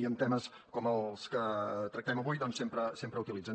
i en temes com els que tractem avui doncs sempre utilitzen